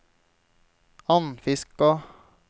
Andfiskå